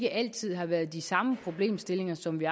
altid har været de samme problemstillinger som vi